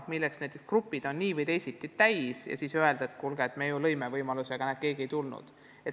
Eripedagoogide grupid on nii või teisiti täis ja nii ei saa öelda, et kuulge, me ju lõime võimaluse, aga keegi ei tulnud.